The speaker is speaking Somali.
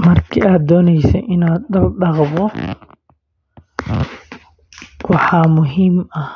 Marka uu qofku doonayo inuu dhaqdo dharkiisa, waxaa muhiim ah